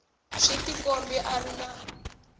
swi tikombi a ri na